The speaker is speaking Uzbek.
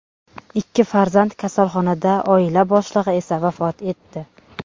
Ikki farzand kasalxonada, oila boshlig‘i esa vafot etdi.